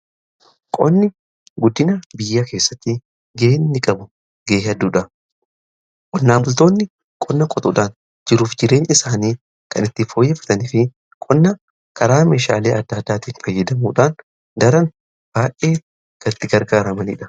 Qonni guddinaa biyya keessatti gaheen inni qabu gahee hedduudha. Qonnaan bultoonni qonna qotuudhaan jiruuf jireenya isaanii kan itti fooyyaffataniif qonna karaa meeshaalee adda addaatiin fayyadamuudhaan daran baay'ee kan itti gargaaramaniidha.